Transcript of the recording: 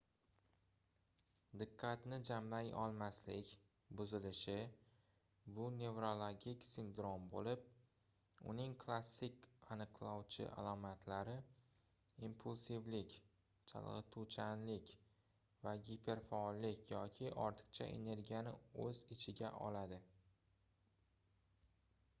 diqqatni jamlay olmaslik buzilishi bu nevrologik sindrom boʻlib uning klassik aniqlovchi alomatlari impulsivlik chalgʻituvchanlik va giperfaollik yoki ortiqcha energiyani oʻz ichiga oladi